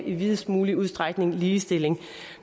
i videst mulig udstrækning ligestilling